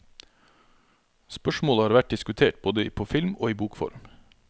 Spørsmålet har vært diskutert både på film og i bokform.